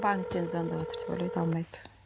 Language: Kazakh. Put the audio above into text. банктен звондаватыр деп ойлайды алмайды